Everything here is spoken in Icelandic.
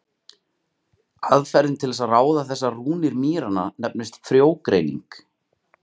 Aðferðin til að ráða þessar rúnir mýranna nefnist frjógreining.